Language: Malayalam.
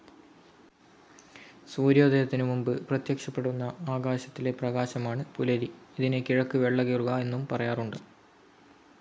സൂര്യോദയത്തിനു മുൻപ് പ്രത്യക്ഷപ്പെടുന്ന ആകാശത്തിലെ പ്രകാശമാണ് പുലരി. ഇതിനെ കിഴക്ക് വെള്ളകീറുക എന്നും പറയാറുണ്ട്.